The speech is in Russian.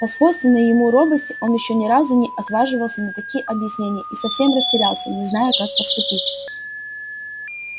по свойственной ему робости он ещё ни разу не отваживался на такие объяснения и совсем растерялся не зная как поступить